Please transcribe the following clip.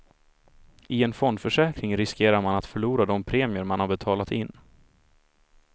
I en fondförsäkring riskerar man att förlora de premier man har betalat in.